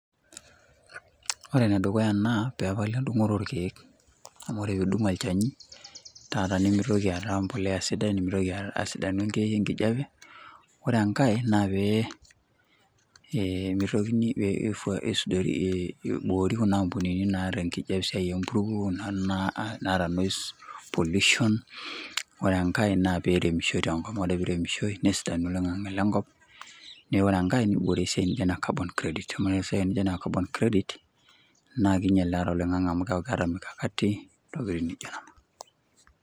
Wore ene dukuya naa peepali endungoto oorkiek. Amu wore piidung olchani taata nimitoki aata mbolea sidai, nimitoki asidanu enkijape. Wore enkae naa pee mitokini aisudorie iboori kuna ampunini naar enkijape esiai empuruo niana naata noise pollution. Wore enkae naa pee iremishoi tenkop amu wore pee iremishoi nesidanu oleng' oloingange lenkop, naa wore enkae niboori esiai nijo ene carbon credit amu wore esiai nijo ene carbon credit naa kiinyial naadi oloingange amu keeku keeta mikakati, intokitin nijo niana.